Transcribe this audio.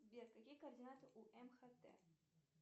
сбер какие координаты у мхат